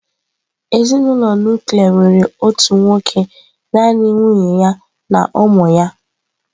Ezinụlọ nuklia nwere otu nwoke naanị nwunye ya na ụmụ ya.